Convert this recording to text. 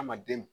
Adamaden